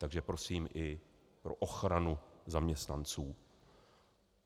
Takže prosím i pro ochranu zaměstnanců.